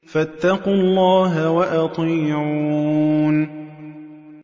فَاتَّقُوا اللَّهَ وَأَطِيعُونِ